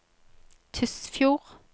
Tysfjord